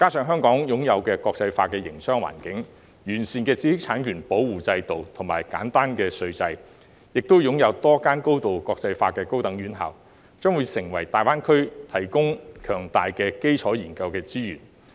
香港擁有國際化的營商環境、完善的知識產權保護制度和簡單稅制，亦擁有多間高度國際化的高等院校，將會為大灣區提供強大的基礎研究資源。